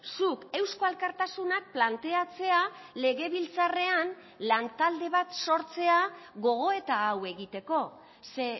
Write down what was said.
zuk eusko alkartasunak planteatzea legebiltzarrean lan talde bat sortzea gogoeta hau egiteko ze